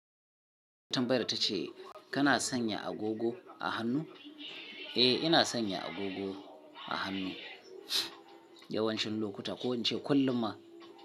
Tumbayyar ta ce kana sanya agogo a hannu? Eh, ina sanya agogo a hannu yawancin lokuta ko in ce kullum ma.